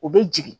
U bɛ jigin